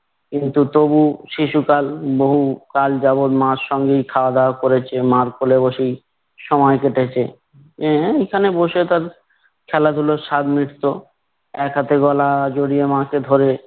কিন্তু তবু শিশুকাল বহুকাল যাবৎ মার সঙ্গেই খাওয়া-দাওয়া করেছ, মার কোলে বসেই সময় কেটেছে। অ্যা এখানে বসে তার খেলাধুলোর স্বাদ মিটতো। এক হাতে গলা জড়িয়ে মাকে ধরে